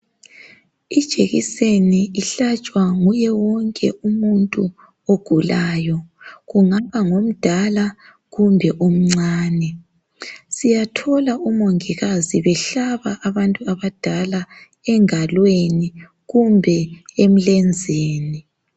ijekiseni ihlatshwa nguye wonke umuntu ogulayo kungaba ngomdala kumbe omncanae siyathola umongikazi behlaba abantu abadala engalweni kumbe emlenzeni